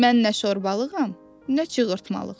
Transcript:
Mən nə şorbalığam, nə çığırtmalığ.